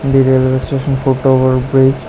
The railway station foot over bridge.